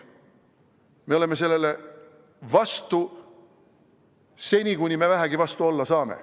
Me oleme sellele vastu seni, kuni me vähegi vastu olla saame.